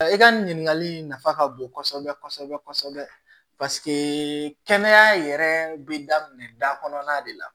I ka nin ɲininkali in nafa ka bon kosɛbɛ kosɛbɛ kɛnɛya yɛrɛ bɛ daminɛ da kɔnɔna de la